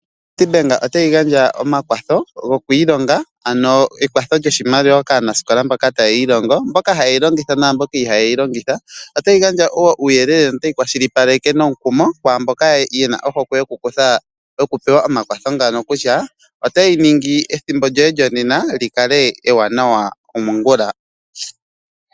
Nedbank otayi gandja omakwatho goku ilonga ano ekwatho lyoshimaliwa kaanasikola mboka taya ilongo, mboka ha yeyi longitha naamboka iha yeyi longitha . Otayi gandja woo uuyelele no tayi kwashilipaleke nomukumo kwaamboka yena ohokwe yoku pewa omakwatho ngano kutya otayi ningi ethimbo lyoye lyonena likale ewanawa komongula.